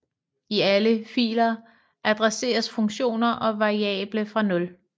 I alle filer adresseres funktioner og variable fra nul